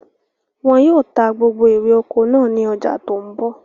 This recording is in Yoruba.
Wọn yìí ó ta gbogbo ère oko náà ni ọjà tòun bọ̀